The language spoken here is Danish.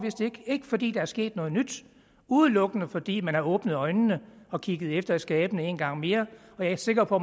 ikke fordi der er sket noget nyt udelukkende fordi man har åbnet øjnene og kigget efter i skabene en gang mere og jeg er sikker på